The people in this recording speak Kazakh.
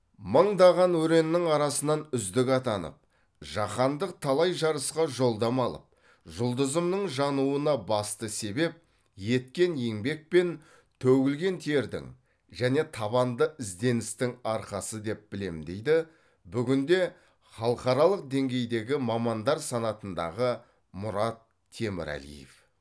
мыңдаған өреннің арасынан үздік атанып жаһандық талай жарысқа жолдама алып жұлдызымның жануына басты себеп еткен еңбек пен төгілген тердің және табанды ізденістің арқасы деп білемін дейді бүгінде халықаралық деңгейдегі мамандар санатындағы мұрат темірәлиев